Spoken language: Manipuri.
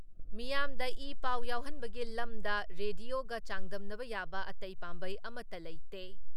ꯃꯤꯌꯥꯝꯗ ꯏ ꯄꯥꯎ ꯌꯧꯍꯟꯕꯒꯤ ꯂꯝꯗꯝ ꯔꯦꯗꯤꯌꯣꯒ ꯆꯥꯡꯗꯝꯅ ꯌꯥꯕ ꯑꯇꯩ ꯄꯥꯝꯕꯩ ꯑꯃꯠꯇ ꯂꯩꯇꯦ ꯫